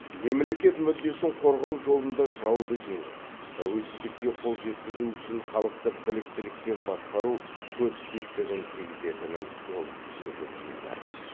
мемлекет мүддесін қорғау жолында жауды жеңіп тәуелсіздікке қол жеткізу үшін халықты біліктілікпен басқару көп септігін тигізетінін ол жете түсінді